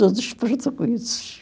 Todos portugueses.